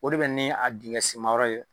O de bɛ ni a dingɛsenmayɔyɔ ye